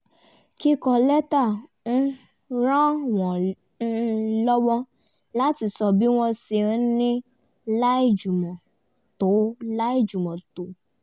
kíkọ lẹ́tà um ràn wọ́n um lọ́wọ́ láti sọ bí wọ́n ṣe ń ní láìjùmọ̀ tó láìjùmọ̀ tó